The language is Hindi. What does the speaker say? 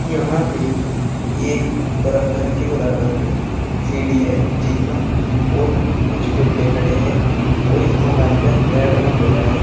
यहां पे एक बड़ा घर के बराबर में सीडी है जिन्ना और कुछ पेडे खड़े हैं और इस मकान पर रेड रंग होया है।